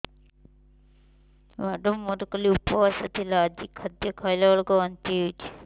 madam ମୋର କାଲି ଉପବାସ ଥିଲା ଆଜି ଖାଦ୍ୟ ଖାଇଲା ବେଳକୁ ବାନ୍ତି ହେଊଛି